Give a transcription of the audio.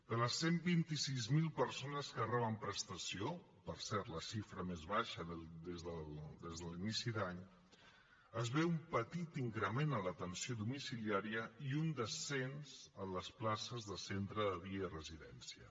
de les cent i vint sis mil persones que reben prestació per cert la xifra més baixa des de l’inici d’any es veu un petit increment en l’atenció domiciliària i un descens en les places de centre de dia i residència